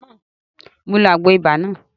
Mo ló Àgbo ibà náà